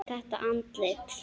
Þetta andlit.